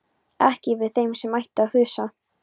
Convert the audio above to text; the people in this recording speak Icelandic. Ekki yfir þeim sem ætti að þusa.